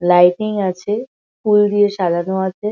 Lighting আছে ফুল দিয়ে সাজানো আছে।